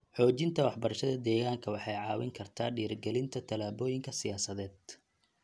Xoojinta waxbarashada deegaanka waxay caawin kartaa dhiirrigelinta tallaabooyinka siyaasadeed.